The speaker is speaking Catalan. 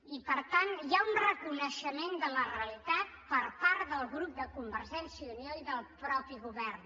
i per tant hi ha un reconeixement de la realitat per part del grup de convergència i unió i del mateix govern